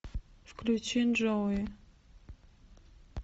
включи джоуи